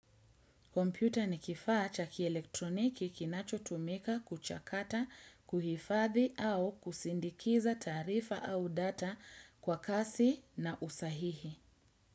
Komputa ni kifaa cha kielektroniki kinachotumika kuchakata, kuhifathi au kusindikiza taarifa au data kwa kasi na usahihi.